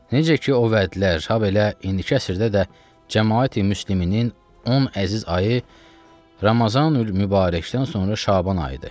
Necə ki o vədlər, habelə indiki əsrdə də Cəmaəti müsliminin ən əziz ayı Ramazanülmübarəkdən sonra Şaban ayıdır.